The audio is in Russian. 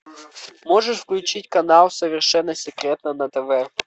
можешь включить канал совершенно секретно на тв